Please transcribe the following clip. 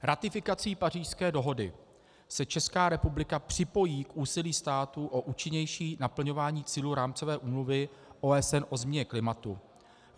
Ratifikací Pařížské dohody se Česká republika připojí k úsilí států o účinnější naplňování cílů Rámcové úmluvy OSN o změně klimatu.